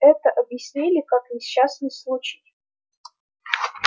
это объяснили как несчастный случай